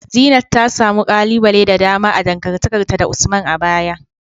Zeenat ta samu kalubale da dama a dangantakarta da Usman a baya.